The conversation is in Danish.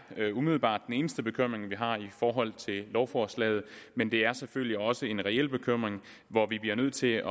umiddelbart den eneste bekymring vi har i forhold til lovforslaget men det er selvfølgelig også en reel bekymring hvor vi bliver nødt til